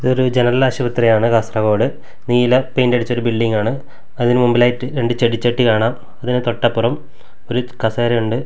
ഇത് ഒരു ജനറൽ ആശുപത്രിയാണ് കാസറഗോഡ് നീല പെയിന്റടിച്ച ഒരു ബിൽഡിംഗ് ആണ് അതിനു മുമ്പിലായിട്ട് ഒരു ചെടിച്ചട്ടി കാണാം അതിനു തൊട്ടപ്പുറം ഒരു കസേര ഒണ്ട്.